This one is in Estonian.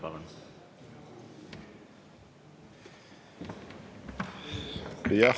Palun!